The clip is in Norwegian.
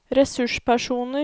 ressurspersoner